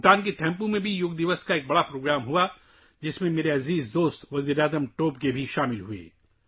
بھوٹان کے تھمپو میں بھی یوگا ڈے کا ایک بڑا پروگرام ہوا جس میں میرے دوست وزیر اعظم ٹوبگے نے بھی شرکت کی